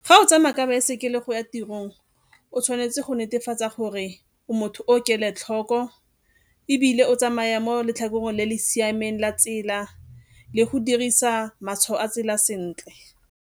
Fa o tsamaya ka baesekele go ya tirong, o tshwanetse go netefatsa gore o motho o kelotlhoko ebile o tsamaya mo letlhakoreng le le siameng la tsela le go dirisa matshwao a tsela sentle.